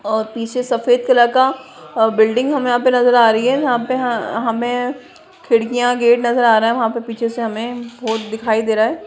और पीछे सफेद कलर का ओ बिल्डिंग हमें यहाँ पे नजर आ रही है यहाँ पे हमें खिड़कियाँ गेट नजर आ रहा वहाँ पे पीछे हमें बॉट दिखाई दे रहा है।